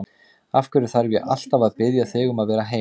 Af hverju þarf ég alltaf að biðja þig um að vera heima?